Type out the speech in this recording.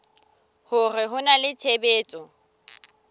hore ho na le tshebetso